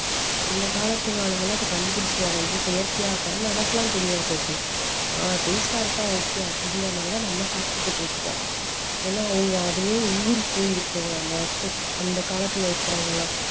அந்த காலத்து ஆளுங்க எல்லாம் இப்போ கண்டுபிடிச்சுருவாங்க இது செயற்கையா அப்பறம் நமக்கெல்லாம் தெரியாது அது ஆஹ் taste ஆ இருக்கா okay அப்டின்ற மாதிரி தான் நம்ம சாப்பிட்டுகிட்டு இருக்கோம் ஏன்னா அவங்க அதுலயே ஊறி போயிருக்கிறவங்க அந்த வருஷம்~அந்த காலத்துல இருக்குறவங்கலாம்